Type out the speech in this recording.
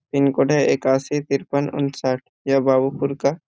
pin code है एकासी तिरपन उनसठ ये बाबू पूर का --